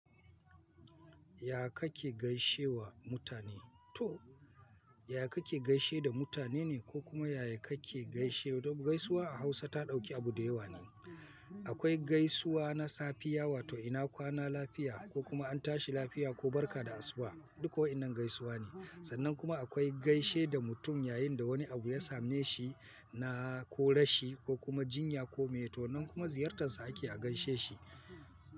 Ya kake gaishe wa mutane? To ya kake gaishe da mutane ne ko kuma yaya kake gaishe? Gaisuwa a Hausa ta ɗauki abu da yawa ne. Akwai gaisuwa na safiya wato ina kwana lafiya ko kuma an tashi lafiya ko barka da asuba. Duk wayannan gaisuwa ne. Sannan kuma akwai gaishe da mutum yayin da wani abu ya same shi na ko rashi ko kuma jinya ko mai to nan kuma ziyartarsa ake a gaishe shi.